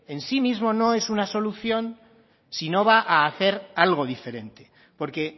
en sí mismo no es una solución si no va a hacer algo diferente porque